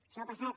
això ha passat